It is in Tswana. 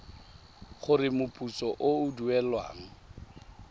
gore moputso o o duelwang